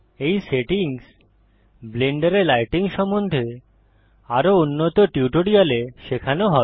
এই সেটিংস ব্লেন্ডারে লাইটিং সম্বন্ধে আরও উন্নত টিউটোরিয়ালে শেখানো হবে